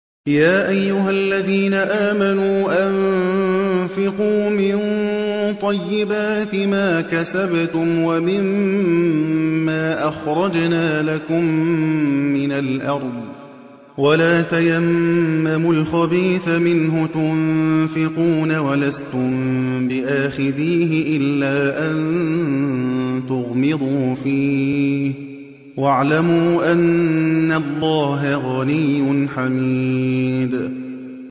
يَا أَيُّهَا الَّذِينَ آمَنُوا أَنفِقُوا مِن طَيِّبَاتِ مَا كَسَبْتُمْ وَمِمَّا أَخْرَجْنَا لَكُم مِّنَ الْأَرْضِ ۖ وَلَا تَيَمَّمُوا الْخَبِيثَ مِنْهُ تُنفِقُونَ وَلَسْتُم بِآخِذِيهِ إِلَّا أَن تُغْمِضُوا فِيهِ ۚ وَاعْلَمُوا أَنَّ اللَّهَ غَنِيٌّ حَمِيدٌ